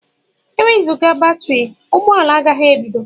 Enwezuga batrị, ụgbọ ala agaghị ebido.